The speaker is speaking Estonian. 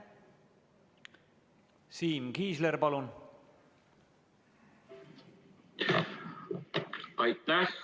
Siim Kiisler, palun!